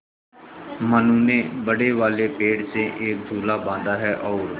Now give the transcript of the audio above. मनु ने बड़े वाले पेड़ से एक झूला बाँधा है और